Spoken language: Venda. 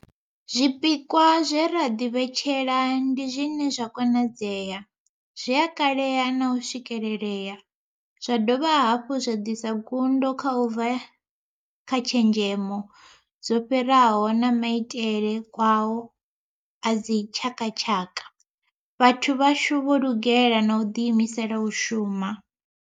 Zwipikwa zwe ra ḓivhetshela ndi zwine zwa konadzea, zwi a kalea na u swikelelea, zwa dovha hafhu zwa ḓisa ngudo u bva kha tshenzhemo dzo fhiraho na maitele kwao a dzi tshakatshaka. Vhathu vhashu vho lugela na u ḓiimisela u shuma.